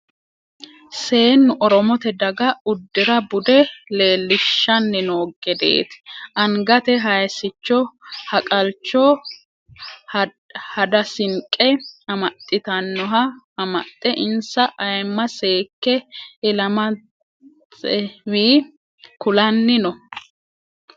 Seennu oromote daga uddira bude leelishshanni no gedeti angate haysicho haqalcho hadasinqe amaxittanoha amaxe insa ayima seekke ilamatswe kulanni no.